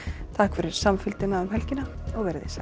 takk fyrir samfylgdina um helgina verið þið sæl